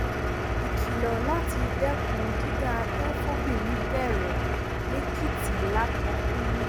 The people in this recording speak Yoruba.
ìkìlọ láti dẹkùn dídá abẹ fọbìnrin bẹrẹ lẹkìtì lákọtun